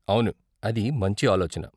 అవును, అది మంచి ఆలోచన.